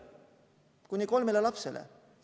Kuni kolmele lapsele!